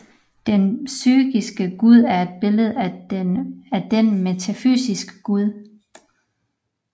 Den psykiske Gud er et billede af den metafysiske Gud